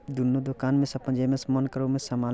दुनो दुकान में से जे में से मन करे ओ से समान --